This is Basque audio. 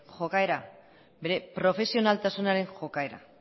jokaera bere profesionaltasunaren jokaera